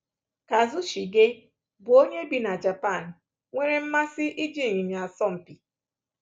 Kazushige, bụ́ onye bi na Japan, nwere mmasị n’iji ịnyịnya asọ mpi.